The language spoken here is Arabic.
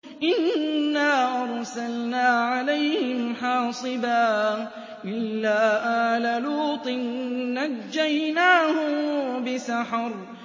إِنَّا أَرْسَلْنَا عَلَيْهِمْ حَاصِبًا إِلَّا آلَ لُوطٍ ۖ نَّجَّيْنَاهُم بِسَحَرٍ